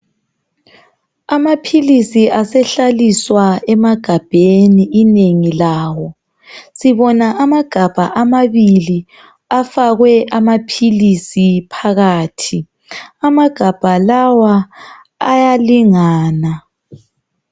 Amapilisi asehlaliswa emagabheni inengi lawo sibona amagabha amabili afakwe amapilisi phakathi amagabha lawa ayalingana .